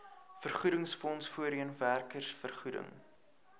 vergoedingsfonds voorheen werkersvergoeding